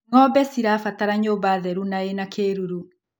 Ngombe cibataraga nyũmba theru na ĩna kĩruru.